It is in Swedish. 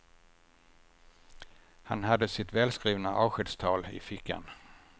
Han hade sitt välskrivna avskedstal i fickan.